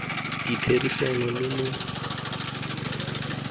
ditherisano lo lo neng lwa